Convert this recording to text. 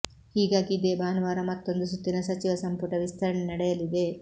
ಹೀಗಾಗಿ ಇದೇ ಭಾನುವಾರ ಮತ್ತೊಂದು ಸುತ್ತಿನ ಸಚಿವ ಸಂಪುಟ ವಿಸ್ತರಣೆ ನಡೆಯಲಿದೆ